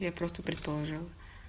я просто предположила